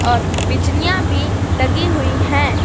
और बिजलियां भी लगी हुई हैं।